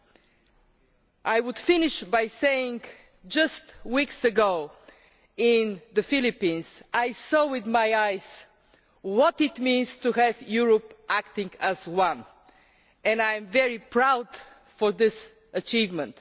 I would like to finish by saying that just weeks ago in the Philippines I saw with my own eyes what it means to have Europe acting as one and I am very proud of this achievement.